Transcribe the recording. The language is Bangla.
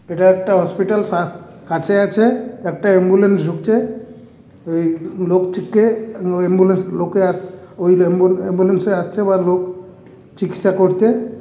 এটা একটা হসপিটাল সা কাছে আছে একটা অ্যাম্বুলেন্স ঢুকছে ওই লোকটিকে অ্যাম্বুলেন্স লোকে আসে ওই অ্যাম্বুলেন্স এ আসছে বা লোক চিকিৎসা করতে --